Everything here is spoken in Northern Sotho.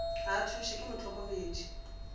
ga a thušwe ke mohlokomedi